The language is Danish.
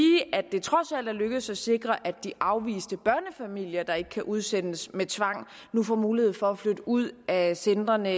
at det trods alt er lykkedes at sikre at de afviste børnefamilier der ikke kan udsendes med tvang nu får mulighed for at flytte ud af centrene